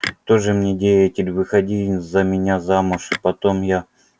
тоже мне деятель выходи за меня замуж а потом я